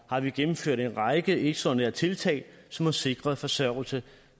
har vi gennemført en række ekstraordinære tiltag som har sikret forsørgelse